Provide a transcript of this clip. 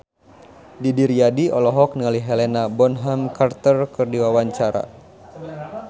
Didi Riyadi olohok ningali Helena Bonham Carter keur diwawancara